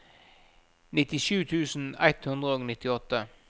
nittisju tusen ett hundre og nittiåtte